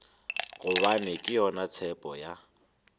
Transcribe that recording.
gobane ke yona tshepo ya